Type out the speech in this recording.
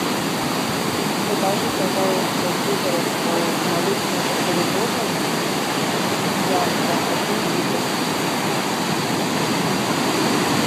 закажи пожалуйста сыворотку молочную пастеризованную янта один литр